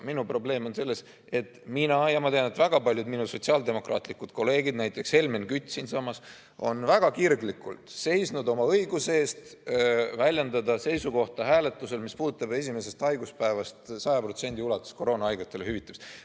Minu probleem on selles, et mina olen ja ma tean, et väga paljud minu sotsiaaldemokraatlikud kolleegid, näiteks Helmen Kütt siinsamas, on väga kirglikult seisnud oma õiguse eest väljendada seisukohta hääletusel, mis puudutab esimesest haiguspäevast 100% ulatuses koroonahaigetele hüvitamist.